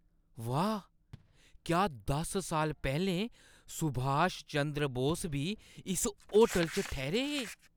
वाह् ! क्या दस साल पैह्‌लें सुभाष चंद्र बोस बी इस होटल च ठैह्‌रे हे?